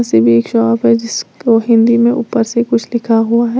ये भी एक शॉप है जिसको हिंदी में ऊपर से कुछ लिखा हुआ है।